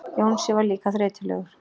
Jónsi var líka þreytulegur.